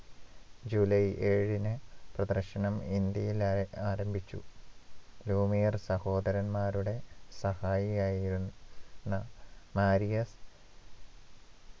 July ഏഴിന് പ്രദർശനം ഇന്ത്യയിൽ ആ ആരംഭിച്ചു ലൂമിയർ സഹോദരന്മാരുടെ സഹായിയായിരുന്ന മാരിയർ